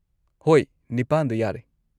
ꯍꯣꯏ, ꯅꯤꯄꯥꯟꯗꯣ ꯌꯥꯔꯦ꯫